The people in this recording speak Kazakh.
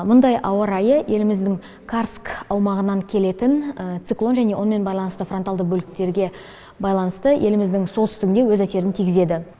мұндай ауа райы еліміздің карск аумағынан келетін циклон және онымен байланысты фронтальды бөліктерге байланысты еліміздің солтүстігіне өз әсерін тигізеді